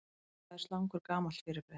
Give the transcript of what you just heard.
Hvað er slangur gamalt fyrirbrigði?